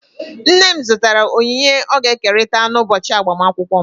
Nne m zụtara onyinye ọ ga-ekerịta n'ụbọchị agbamakwụkwọ m.